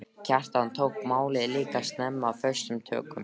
Kjartan tók málið líka snemma föstum tökum.